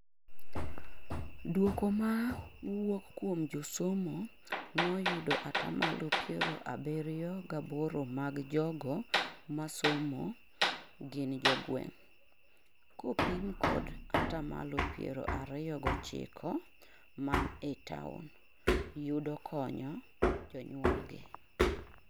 duoko mawuok kuom josomo noyudo atamalo piero abirio gaboro mag jogo masomo gin jogweng(kopim kod atamalo piero ariyo gochikoman e taon)yudo konyo jonyuol gi